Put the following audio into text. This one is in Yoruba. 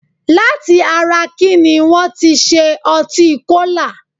Láti ara kíní wọ́n ti ṣe ọtí Kólà?